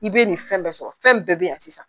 I be nin fɛn bɛɛ sɔrɔ fɛn bɛɛ be yan sisan